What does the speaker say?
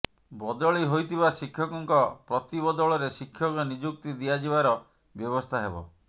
ବଦଳି ହୋଇଥିବା ଶିକ୍ଷକଙ୍କ ପ୍ରତିବଦଳରେ ଶିକ୍ଷକ ନିଯୁକ୍ତି ଦିଆଯିବାର ବ୍ୟବସ୍ଥା ହେବ